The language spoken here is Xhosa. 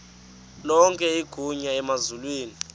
lonke igunya emazulwini